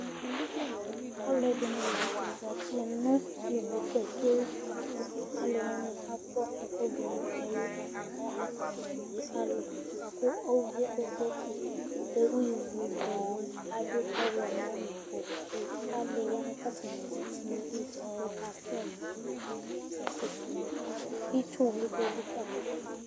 Alʋɛdìní la ntɛ zɛti nʋ ívu pato ye li bʋakʋ alu wani akɔ ɛku du nʋ ɛlu atani alɛ kotokoli ɔlu Ʋvi ye bʋakʋ ɔdu ivʋ ye tu adu ɔwlɔmɔ nʋ ɔwɛ Itsu wli di elikali ma du